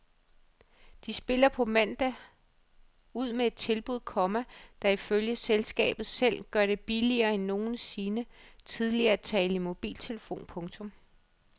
De spiller på mandag ud med et tilbud, komma der ifølge selskabet selv gør det billigere end nogensinde tidligere at tale i mobiltelefon. punktum